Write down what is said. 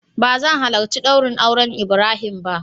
Ba zan halarci daurin auren ibrahim ba.